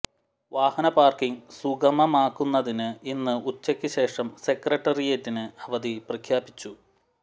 വാഹന പാര്ക്കിങ് സുഗമമാക്കുന്നതിന് ഇന്ന് ഉച്ചയ്ക്കു ശേഷം സെക്രട്ടേറിയറ്റിന് അവധി പ്രഖ്യാപിച്ചു